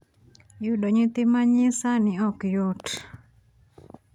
yudo nyithi ma ny sani ok yot.